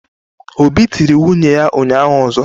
Obi tiri nwunye ya ụnyahụ ọzọ.